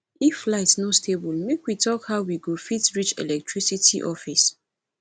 if light no stable make we talk how we go fit reach electricity office